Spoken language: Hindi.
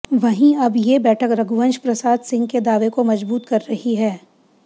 वहीं अब ये बैठक रघुवंश प्रसाद सिंह के दावे को मजबूत कर रही है